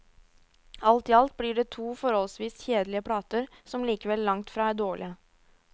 Alt i alt blir det to forholdsvis kjedelige plater, som likevel langtfra er dårlige.